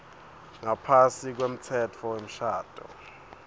ngaphasi kwemtsetfo wemshado